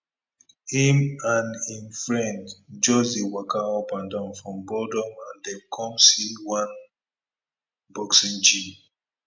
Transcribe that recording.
im and im friend just dey waka up and down from godom and dem come see one boxing gym